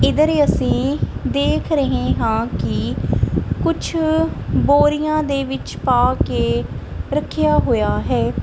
ਇਧਰ ਈ ਅਸੀਂ ਦੇਖ ਰਹੇ ਹਾਂ ਕਿ ਕੁਛ ਬੋਰੀਆਂ ਦੇ ਵਿੱਚ ਪਾ ਕੇ ਰੱਖਿਆ ਹੋਇਆ ਹੈ।